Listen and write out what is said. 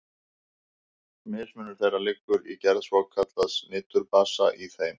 Mismunur þeirra liggur í gerð svokallaðs niturbasa í þeim.